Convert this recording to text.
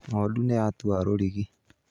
Ng'ondu nĩyatua rũrigi